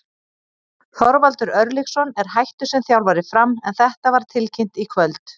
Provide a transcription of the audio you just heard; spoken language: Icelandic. Þorvaldur Örlygsson er hættur sem þjálfari Fram en þetta var tilkynnt í kvöld.